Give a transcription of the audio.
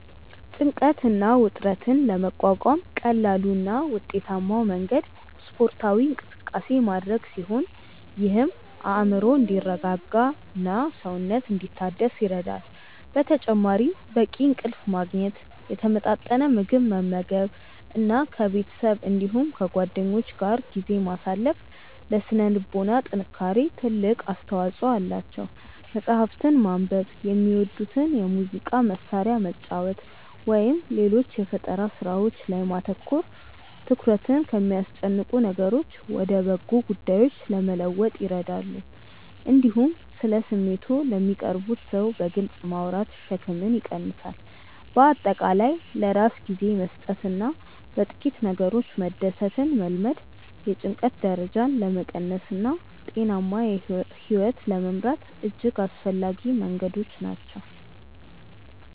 ጭንቀትን እና ውጥረትን ለመቋቋም ቀላሉ እና ውጤታማው መንገድ ስፖርታዊ እንቅስቃሴ ማድረግ ሲሆን ይህም አእምሮ እንዲረጋጋና ሰውነት እንዲታደስ ይረዳል። በተጨማሪም በቂ እንቅልፍ ማግኘት፣ የተመጣጠነ ምግብ መመገብ እና ከቤተሰብ እንዲሁም ከጓደኞች ጋር ጊዜ ማሳለፍ ለሥነ ልቦና ጥንካሬ ትልቅ አስተዋጽኦ አላቸው። መጽሐፍትን ማንበብ፣ የሚወዱትን የሙዚቃ መሣሪያ መጫወት ወይም ሌሎች የፈጠራ ሥራዎች ላይ ማተኮር ትኩረትን ከሚያስጨንቁ ነገሮች ወደ በጎ ጉዳዮች ለመለወጥ ይረዳሉ። እንዲሁም ስለ ስሜቶችዎ ለሚቀርቡዎት ሰው በግልጽ ማውራት ሸክምን ይቀንሳል። በአጠቃላይ ለራስ ጊዜ መስጠትና በጥቂት ነገሮች መደሰትን መልመድ የጭንቀት ደረጃን ለመቀነስና ጤናማ ሕይወት ለመምራት እጅግ አስፈላጊ መንገዶች ናቸው።